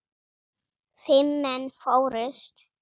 Fimm menn fórust.